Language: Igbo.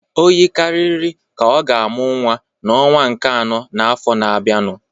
O yikarịrị ka ọ ga-amụ nwa n'ọnwa nke anọ n'afọ na-abịanụ